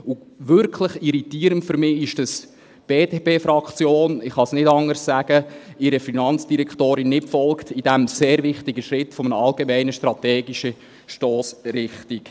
Und wirklich irritierend ist für mich, dass die BDP-Fraktion – ich kann es nicht anders sagen – ihrer Finanzdirektorin in diesem sehr wichtigen Schritt einer allgemeinen strategischen Stossrichtung nicht folgt.